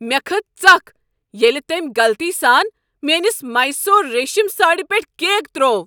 مےٚ کھٔژ ژکھ ییٚلہ تٔمۍ غلطی سان میٲنس میسور ریشم ساڑِ پیٹھ کیک ترٛوو۔